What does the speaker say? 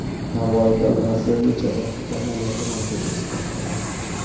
Navoiyda lazerli jarrohlik amaliyoti markazi ish boshladi.